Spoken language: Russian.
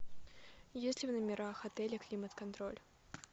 есть ли в номерах отеля климат контроль